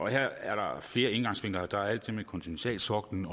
her er der flere indgangsvinkler der er alt det med kontinentalsoklen